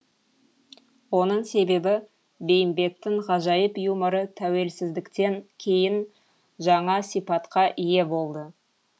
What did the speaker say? оның себебі бейімбеттің ғажайып юморы тәуелсіздіктен кейін жаңа сипатқа ие болды